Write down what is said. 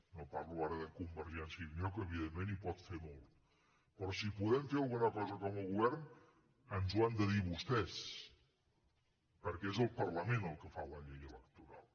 no parlo ara de convergència i unió que evidentment hi pot fer molt però si hi podem fer alguna cosa com a govern ens ho han de dir vostès perquè és el parlament el que fa la llei electoral